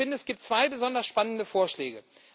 Ich finde, es gibt zwei besonders spannende Vorschläge.